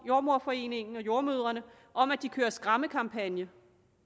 jordemoderforeningen og jordemødrene om at de kører en skræmmekampagne